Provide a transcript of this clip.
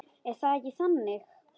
Er það ekki þannig?